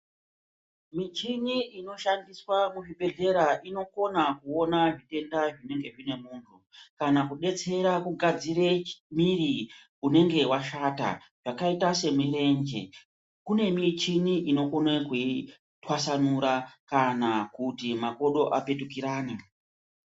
Michini inoshandiswa muzvibhedhlera inokona kuona zvitenda zvinenge zvinemunhu kana kudetsera kugadzire miri unenge washata zvakaita semirenje, kune michini inokone kuitwasanura kana kuti makodo apetukirane.